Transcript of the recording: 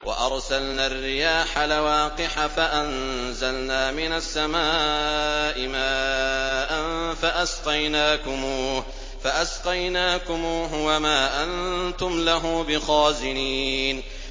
وَأَرْسَلْنَا الرِّيَاحَ لَوَاقِحَ فَأَنزَلْنَا مِنَ السَّمَاءِ مَاءً فَأَسْقَيْنَاكُمُوهُ وَمَا أَنتُمْ لَهُ بِخَازِنِينَ